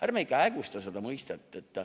Ärme ikka hägusta seda mõistet.